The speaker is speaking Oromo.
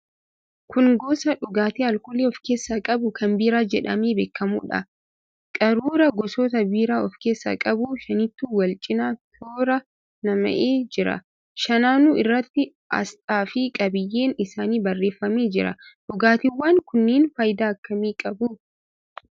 Kun gosa dhugaatii alkoolii of keessaa qabu kan biiraa jedhamee beekamuudha. Qaruuraa gosoota biiraa of keessaa qabu shanitu wal cina toora nam'ee jira. Shananuu irratti aasxaafi qabiyyeen isaanii barreeffamee jira. Dhugaatiiwwan kunneen faayidaa akkamii qabu?